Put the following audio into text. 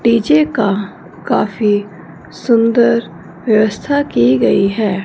DJ का काफी सुंदर व्यवस्था की गई है।